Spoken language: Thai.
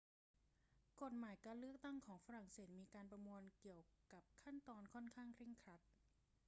กฎหมายการเลือกตั้งของฝรั่งเศสมีการประมวลเกี่ยวกับขั้นตอนค่อนข้างเคร่งครัด